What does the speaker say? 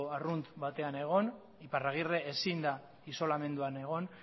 arrunt batean egon iparragirre ezin da isolamenduan egon